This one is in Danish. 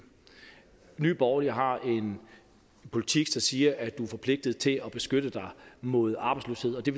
nye borgerlige har en politik der siger at du er forpligtet til at beskytte dig mod arbejdsløshed og det